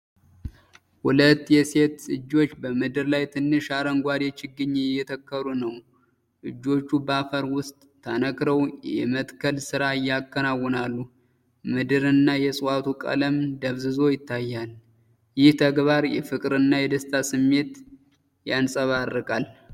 ሁለት የሴት እጆች በምድር ላይ ትንሽ አረንጓዴ ችግኝ እየተከሉ ነው። እጆቹ በአፈር ውስጥ ተነክረው የመትከል ሥራ ያከናውናሉ፤ የምድርና የዕፅዋቱ ቀለም ደብዝዞ ይታያል። ይህ ተግባር የፍቅርና የደስታ ስሜት ያንጸባርቃል።